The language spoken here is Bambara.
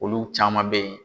Olu caman be yen